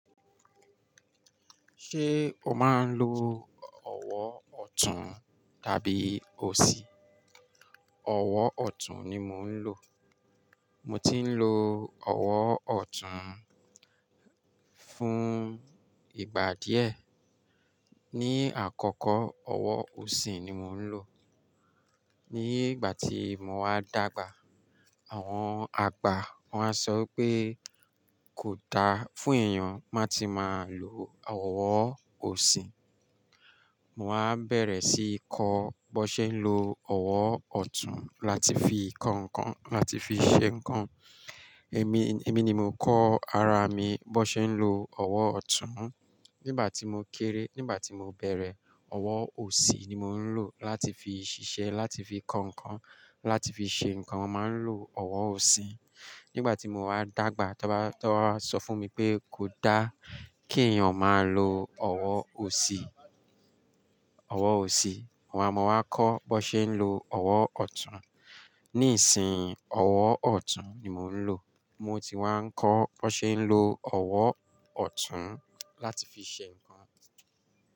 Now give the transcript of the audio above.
Ṣé o máa ń lo ọwọ́ ọ̀tún tàbí òsì? Ọwọ́ ọ̀tún ni mo ń lò. Mo ti ń lo ọwọ́ ọ̀tún fún ìgbà díẹ̀. Ni àkọ́kọ́, ọwọ́ òsì ni mò ń lò. Ni ìgbà tí mo wá dàgbà, àwọn àgbà wọ́n á sọ wípé kò da fún èèyàn má ti máa lo ọwọ́ òsì. Mo wá bẹ̀rẹ̀ sí í kọ́ bó ṣe ń lo ọwọ́ ọ̀tún láti fi kan nǹkan láti fi ṣe nǹkan. Èmi, èmi ni mo kọ́ ara mi bó ṣe ń lo ọwọ́ ọ̀tún. Nígbà tí mo kéré, nígbà tí mo bẹ̀rẹ̀, ọwọ́ òsì ni mò ń lò láti fi ṣiṣẹ́, láti fi kan nǹkan, láti fi ṣe nǹkan, màá ń lò ọwọ́ òsì. Nígbà tí mo wá dàgbà, tó bá, tó bá wa sọ fún mi pé kò dá kí èèyàn máa lo ọwọ́ òsì, ọwọ́ òsì, mo wá, mo wá kọ́ bó ṣe ń lo ọwọ́ ọ̀tún. Nísìnyí, ọwọ́ ọ̀tún ni mò ń lò. Mo ti wá ń kọ́ bó ṣe ń lo ọwọ́ ọ̀tún láti fi ṣe nǹkan.